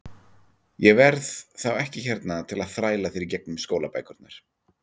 Ég verð þá ekki hérna til að þræla þér í gegnum skólabækurnar.